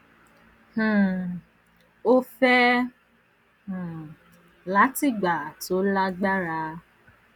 um o fẹ um lati gba to lagbara